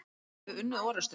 Hefðum við unnið orustuna?